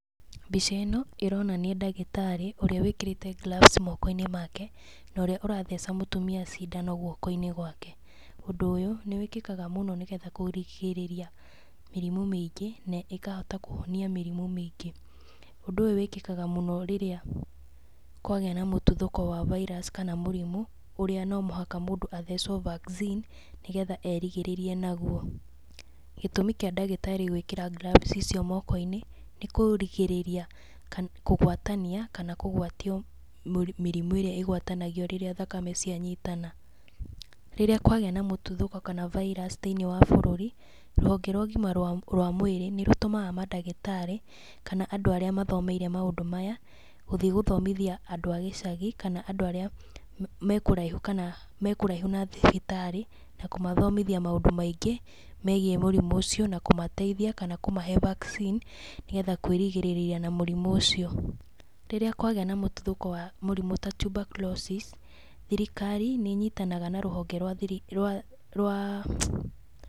Mbica ĩno, ĩronania ndagĩtarĩ ũrĩa wĩkĩrĩte gloves moko-inĩ make, na ũrĩa ũratheca mũtumia cindano guoko-inĩ gwake. Ũndũ ũyũ nĩ wĩkĩkaga mũno nĩ getha kũrigĩrĩria mĩrimũ mĩingĩ na ĩkahota kũhonia mĩrimũ mĩingĩ. Ũndũ ũyũ wĩkĩkaga mũno rĩrĩa kwagĩa na mũtuthũko wa virus kana mũrimũ, ũrĩa no mũhaka mũndũ athecwo vaccine, nĩgetha erigĩrĩrie naguo, gĩtũmi kĩa ndagĩtarĩ gwĩkĩra gloves icio moko-inĩ, nĩ kũrigĩrĩria kũgwatania kana kũgwatio mĩrimũ ĩrĩa ĩgwatanagio rĩrĩa thakame cianyitana. Rĩrĩa kwagĩa na mũtuthũko kana virus thiinĩ wa bũrũri, rũhonge rwa ũgima rwa mwĩrĩ nĩ rũtũmaga mandagĩtarĩ, kana andũ arĩa mathomeire maũndũ maya, gũthiĩ gũthomithia andũ a gĩcagi kana andũ arĩa mekũraihu kana mekũraihu na thibitarĩ, na kũmathomithia maũndũ maingĩ megiĩ mũrimũ ũcio na kũmateithia na kũmahe vaccine nĩgetha kwĩrigĩrĩria na mũrimũ ũcio. Rĩrĩa kwagĩa na mũtuthũko wa mũrimũ ta Tuberculosis thirikari nĩ ĩnyitanaga na rũhonge rwa .